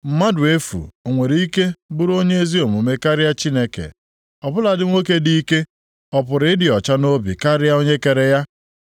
‘Mmadụ efu ọ nwere ike bụrụ onye ezi omume karịa Chineke? Ọ bụladị nwoke dị ike, ọ pụrụ ịdị ọcha nʼobi karịa Onye kere ya?